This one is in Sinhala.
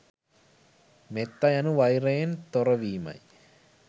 මෙත්තා යනු වෛරයෙන් තොරවීමයි.